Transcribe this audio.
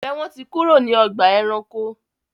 Njé wón tí kúrò ní Ọgbà ẹranko?